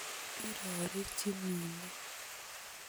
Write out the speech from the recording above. Irorechini ne?